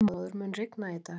Þormóður, mun rigna í dag?